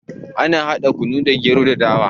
Ana hada kunu da gero ko dawa